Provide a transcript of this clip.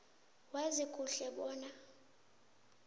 wazi kuhle bona